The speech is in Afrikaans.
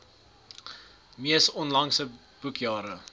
mees onlangse boekjare